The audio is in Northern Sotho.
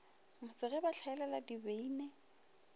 mose ge ba hlaela dibini